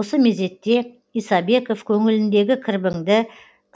осы мезетте исабеков көңіліндегі кірбіңді